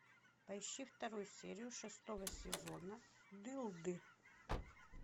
поищи вторую серию шестого сезона дылды